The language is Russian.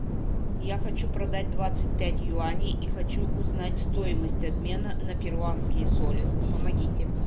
я хочу продать двадцать пять юаней и хочу узнать стоимость обмена на перуанские соли помогите